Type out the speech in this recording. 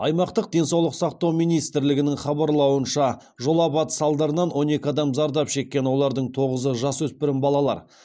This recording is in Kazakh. аймақтық денсаулық сақтау министрлігінің хабарлауынша жол апаты салдарынан он екі адам зардап шеккен олардың тоғызы жасөспірім балалар